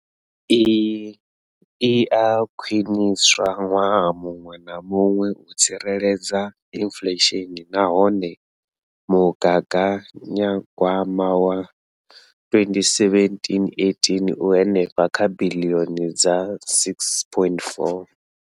Iyi i a khwiniswa ṅwaha muṅwe na muṅwe u tsireledza inflesheni nahone mugaganya gwama wa 2017,18 u henefha kha biḽioni dza R6.4.